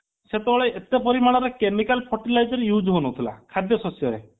ସେତେବେଳେ ଏତେ ପରିମାଣର chemical fertilizer use ହଉ ନଥିଲା ଖାଦ୍ୟ ଶସ୍ୟରେ